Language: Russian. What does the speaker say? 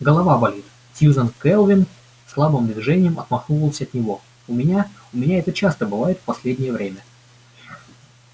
голова болит сьюзен кэлвин слабым движением отмахнулась от него у меня у меня это часто бывает в последнее время